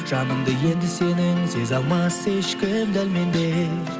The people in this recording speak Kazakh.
жаныңды енді сенің сезе алмас ешкім дәл мендей